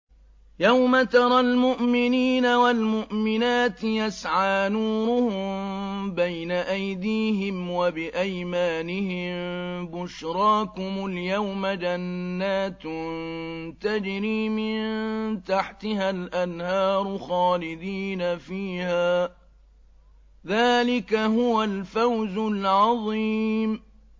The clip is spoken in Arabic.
يَوْمَ تَرَى الْمُؤْمِنِينَ وَالْمُؤْمِنَاتِ يَسْعَىٰ نُورُهُم بَيْنَ أَيْدِيهِمْ وَبِأَيْمَانِهِم بُشْرَاكُمُ الْيَوْمَ جَنَّاتٌ تَجْرِي مِن تَحْتِهَا الْأَنْهَارُ خَالِدِينَ فِيهَا ۚ ذَٰلِكَ هُوَ الْفَوْزُ الْعَظِيمُ